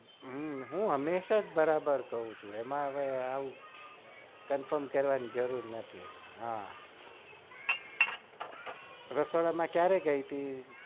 હમ હમેશા બરાબર કઉ છુ એમાં હવે confirm કરવાની જરૂર નથી હા રસોડામાં કયારે ગઈ તી